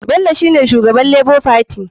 Bellio shine shugaban lebo fati.